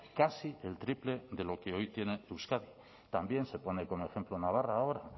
casi el triple de lo que hoy tiene euskadi también se pone ahí como ejemplo navarra ahora